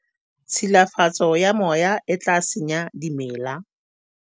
tshilafatso ya moya e tla senya dimela